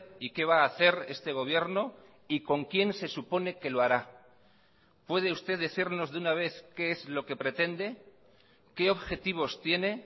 y qué va a hacer este gobierno y con quién se supone que lo hará puede usted decirnos de una vez qué es lo que pretende qué objetivos tiene